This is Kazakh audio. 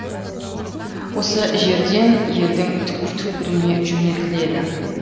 осы жерден елдің түкпір түкпіріне жөнелтіледі